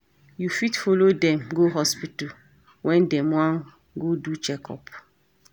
You fit follow dem go hospital when dem wan go do check-up